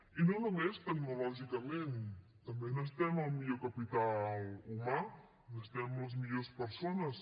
i no només tecnològicament també necessitem el millor capital humà necessitem les millors persones